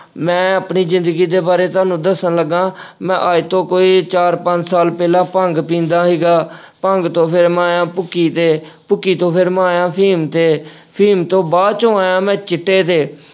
ਮੈਂ ਆਪਣੀ ਜਿੰਦਗੀ ਦੇ ਬਾਰੇ ਤੁਹਾਨੂੰ ਦੱਸਣ ਲੱਗਾ, ਮੈਂ ਅੱਜ ਤੋਂ ਕੋਈ ਚਾਰ ਪੰਜ ਸਾਲ ਪਹਿਲਾਂ ਭੰਗ ਪੀਂਦਾ ਸੀਗਾ ਭੰਗ ਤੋਂ ਫਿਰ ਮੈਂ ਆਇਆਂ ਭੁੱਕੀ ਤੇ, ਭੁੱਕੀ ਤੋਂ ਫਿਰ ਮੈਂ ਆਇਆਂ ਅਫ਼ੀਮ ਤੇ, ਅਫ਼ੀਮ ਤੋਂ ਬਾਅਦ ਚੋਂ ਆਇਆਂ ਮੈਂ ਚਿੱਟੇ ਤੇ।